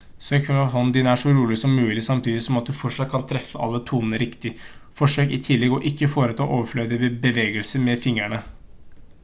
sørg for at hånden din er så rolig som mulig samtidig som at du fortsatt kan treffe alle tonene riktig forsøk i tillegg å ikke foreta overflødige bevegelser med fingrene